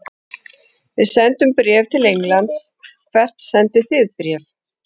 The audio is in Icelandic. Við sendum bréf til Englands. Hvert sendið þið bréf?